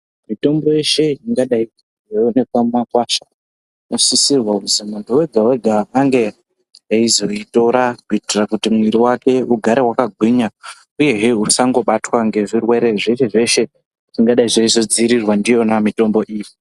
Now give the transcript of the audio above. Mitombo yeshe ingadai yeionekwa mumakwasha, inosisirwa kuti muntu ega ega ange eizoitora kuitira mwiri wake ugare wakagwinya. Uyehe usangobatwa ngezvirwere zveshe zveshe zvingadai zveizodziirirwa ngemitombo iyi.